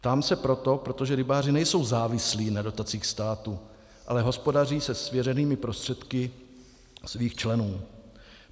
Ptám se proto, protože rybáři nejsou závislí na dotacích státu, ale hospodaří se svěřenými prostředky svých členů.